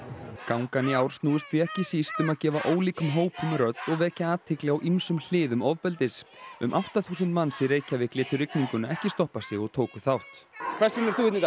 gangan í ár snúist því ekki síst um að gefa ólíkum hópum rödd og vekja athygli á ýmsum hliðum ofbeldis um átta þúsund manns í Reykjavík létu rigninguna ekki stoppa sig og tóku þátt hvers vegna ert þú hérna í